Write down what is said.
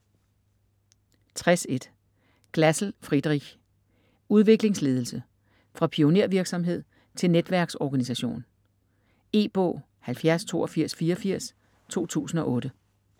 60.1 Glasl, Friedrich: Udviklingsledelse: fra pionervirksomhed til netværksorganisation E-bog 708284 2008.